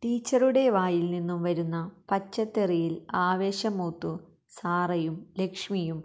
ടീച്ചറുടെ വായിൽനിന്നും വരുന്ന പച്ചത്തെറിയിൽ ആവേശം മൂത്തു സാറയും ലക്ഷ്മിയും